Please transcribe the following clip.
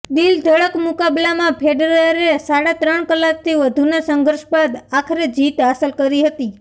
દિલધડક મુકાબલામાં ફેડરરે સાડા ત્રણ કલાકથી વધુના સંઘર્ષ બાદ આખરે જીત હાંસલ કરી હતી